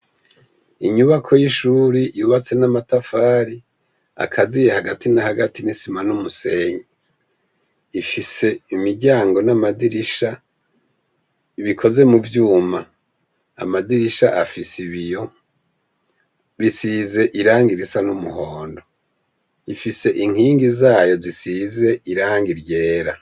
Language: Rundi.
Inyubako y'ishuri yubatse n'amatafari akaziye hagati na hagati n'isima n'umusenyi, ifise imiryango n'amadirisha bikoze mu vyuma, amadirisha afise ibiyo bisize irangi risa n'umuhondo ifise inkingi zayo zisize irangi ryera.